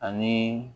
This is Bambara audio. Ani